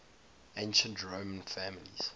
ancient roman families